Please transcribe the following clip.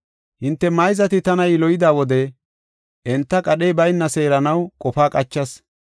“Hinte mayzati tana yiloyida wode enta qadhey bayna seeranaw qofa qachas.